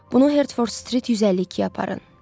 Bunu Herford Street 152-yə aparın.